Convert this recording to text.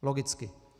Logicky.